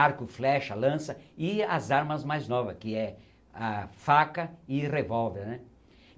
Arco, flecha, lança e as armas mais novas que é a faca e revolver, né.